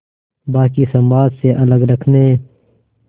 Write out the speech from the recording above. बाक़ी समाज से अलग रखने